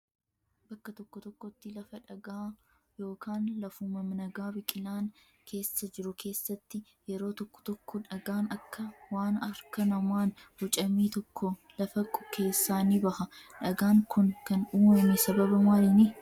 Bakka tokko tokkotti lafa dhagaa yookaan lafuma nagaa biqilaan keessa jiru keessatti yeroo tokko tokko dhagaan akka waan harka namaan bocamee tokko lafa keessaa ni baha. Dhagaan kun kan uumame sababa maaliini?